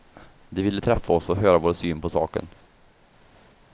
De ville träffa oss och höra vår syn på saken.